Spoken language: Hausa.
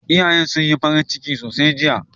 Iyayen sun yi farin ciki sosai jiya.